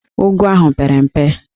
Ụgụ ahụ pere mpe